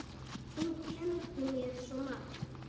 Hún kenndi mér svo margt.